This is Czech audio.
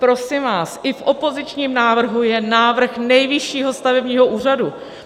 Prosím vás, i v opozičním návrhu je návrh Nejvyššího stavebního úřadu.